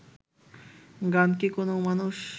গান কি কোনও মানুষ